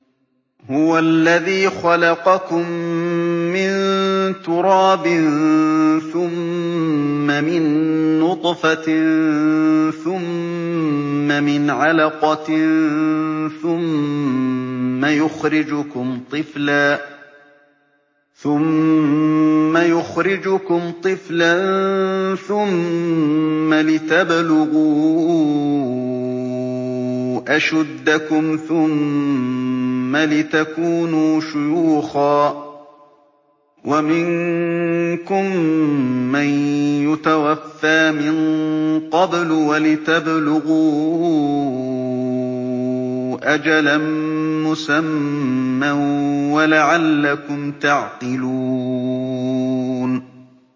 هُوَ الَّذِي خَلَقَكُم مِّن تُرَابٍ ثُمَّ مِن نُّطْفَةٍ ثُمَّ مِنْ عَلَقَةٍ ثُمَّ يُخْرِجُكُمْ طِفْلًا ثُمَّ لِتَبْلُغُوا أَشُدَّكُمْ ثُمَّ لِتَكُونُوا شُيُوخًا ۚ وَمِنكُم مَّن يُتَوَفَّىٰ مِن قَبْلُ ۖ وَلِتَبْلُغُوا أَجَلًا مُّسَمًّى وَلَعَلَّكُمْ تَعْقِلُونَ